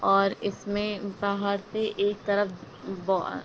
और इसमें बाहर से एक तरफ ब आ --